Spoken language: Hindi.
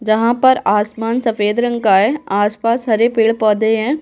जहाँ पर आसमान सफेद रंग का है आसपास हरे पेड़-पौधे हैं --